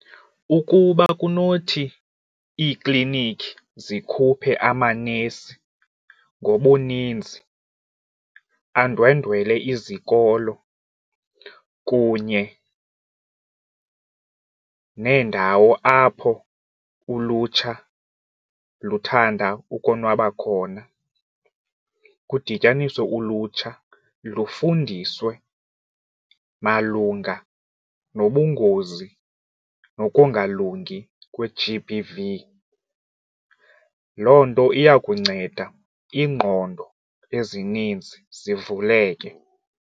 Ukuba kunothi iiklinikhi zikhuphe amanesi ngobuninzi andwendwele izikolo kunye neendawo apho ulutsha luthanda ukonwaba khona kudityaniswe ulutsha lufundiswe malunga nobungozi nokungalungi kwe-G_B_V. Loo nto iya kunceda iingqondo ezininzi zivuleke.